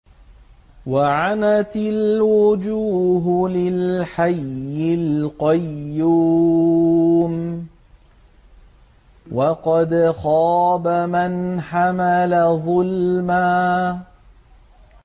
۞ وَعَنَتِ الْوُجُوهُ لِلْحَيِّ الْقَيُّومِ ۖ وَقَدْ خَابَ مَنْ حَمَلَ ظُلْمًا